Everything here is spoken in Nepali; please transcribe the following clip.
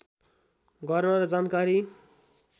गर्न र जानकारी